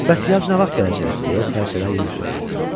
Bəs yaz nə vaxt gələcək, deyə sərçələr yenə soruşdular.